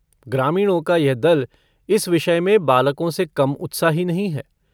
ग्रामीणों का यह दल इस विषय में बालकों से कम उत्साही नहीं है।